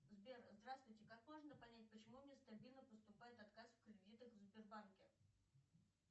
сбер здравствуйте как можно понять почему мне стабильно поступает отказ в кредитах в сбербанке